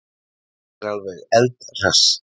Ég er alveg eldhress.